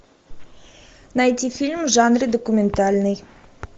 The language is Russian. найти фильм в жанре документальный